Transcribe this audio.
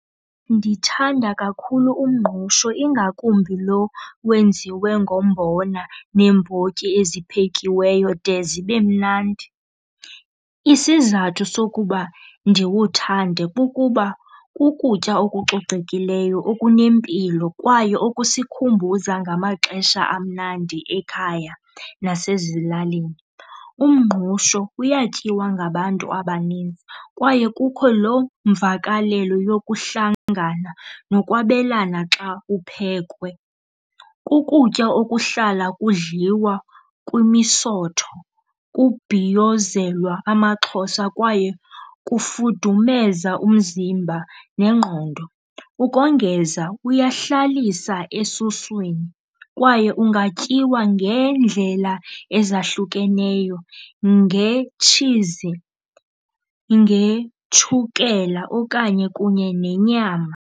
Ndithanda kakhulu umngqusho, ingakumbi lo wenziwe ngombona neembotyi eziphekiweyo de zibe mnandi. Isizathu sokuba ndiwuthande kukuba kukutya okucocekileyo, okunempilo kwaye okusikhumbuza ngamaxesha amnandi ekhaya nasezilalini. Umngqusho uyatyiwa ngabantu abaninzi kwaye kukho loo mvakalelo yokuhlangana nokwabelana xa uphekwa. Kukutya okuhlala kudliwa kwimisotho, kubhiyozelwa amaXhosa kwaye kufudumeza umzimba nengqondo. Ukongeza, uyahlalisa esuswini kwaye ungatyiwa ngeendlela ezahlukeneyo, ngetshizi, ngetshukela okanye kunye nenyama.